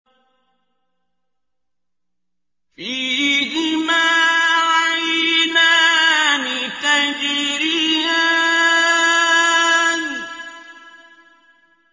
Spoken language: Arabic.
فِيهِمَا عَيْنَانِ تَجْرِيَانِ